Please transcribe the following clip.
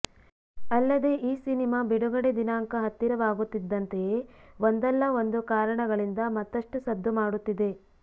ಅಲ್ಲದೆ ಈ ಸಿನಿಮಾ ಬಿಡುಗಡೆ ದಿನಾಂಕ ಹತ್ತಿರವಾಗುತ್ತಿದ್ದಂತೆಯೇ ಒಂದಲ್ಲ ಒಂದು ಕಾರಣಗಳಿಂದ ಮತ್ತಷ್ಟು ಸದ್ದು ಮಾಡುತ್ತಿದೆ